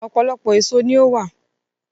Ọ̀pọ̀lọpọ̀ èso ní ó wà